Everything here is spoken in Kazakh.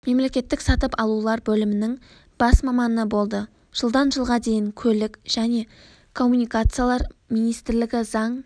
мемлекеттік сатып алулар бөлімінің бас маманы болды жылдан жылға дейін көлік және коммуникациялар министрлігі заң